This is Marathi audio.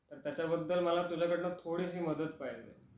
त्याच्या बद्दल मला तुझ्या कडनं थोडीशी मदत पाहिजे